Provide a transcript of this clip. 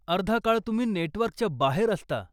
अर्धा काळ तुम्ही नेटवर्कच्या बाहेर असता.